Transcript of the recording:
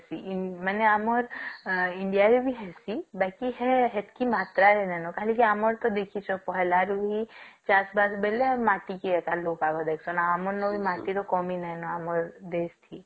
ଇଁ ମାନେ ଆମର India ରେ ବି ହଉଛି ବାକି ହେ ସେଟକି ମାତ୍ରାରେ ହେ ନ କାଇଁ ନ ଆମର ଦେଖିକ ରୁଆ ରୁଇ ଚାଷ ବାସ ବେଲେ ମାଟିକି ଆମର ଏପଟ ମାଟିର କମି ନହିଁ ନ ଆମ ଦେଶ କି